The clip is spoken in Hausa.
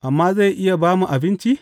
Amma zai iya ba mu abinci?